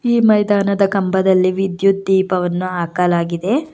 ಈ ಮೈದಾನದ ಕಂಬದಲ್ಲಿ ವಿದ್ಯುತ್ ದೀಪವನ್ನು ಹಾಕಲಾಗಿದೆ.